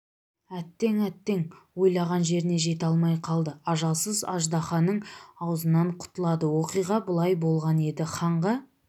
әттең әттең ойлаған жеріне жете алмай қалды ажалсыз аждаһаның аузынан құтылады оқиға былай болған еді ханға